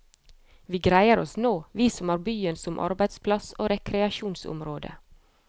Vi greier oss nå, vi som har byen som arbeidsplass og rekreasjonsområde.